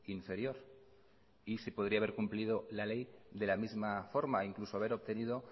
inferior y se podría haber cumplido la ley de la misma forma incluso haber obtenido